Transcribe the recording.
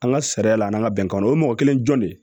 An ka sariya la an ka bɛnkan o mɔgɔ kelen jɔn de